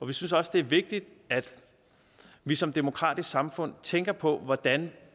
vi synes også det er vigtigt at vi som demokratisk samfund tænker på hvordan